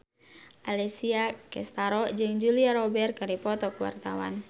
Alessia Cestaro jeung Julia Robert keur dipoto ku wartawan